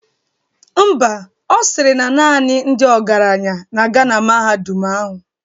Ḿbà, Ọ sịrị na naanị ndị ọgaranya na-aga na mahadum ahụ.